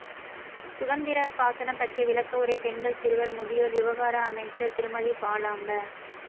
சுகந்திர சாசனம் பற்றிய விளக்கவுரை பெண்கள் சிறுவர் முதியோர் விவகார அமைச்சர் திருமதி பாலாம்ப